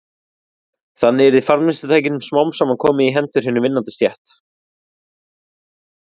Þannig yrði framleiðslutækjunum smám saman komið í hendur hinni vinnandi stétt.